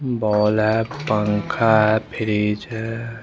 Ball है पंखा है फ्रिज है।